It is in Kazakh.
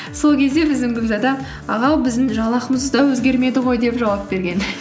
сол кезде біздің гүлзада ағау біздің жалақымыз да өзгермеді ғой деп жауап берген